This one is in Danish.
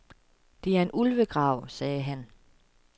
Det er en ulvegrav, sagde han.